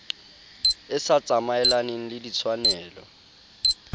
e sa tsamaelaneng le ditshwanelo